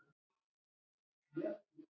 Átök, átök.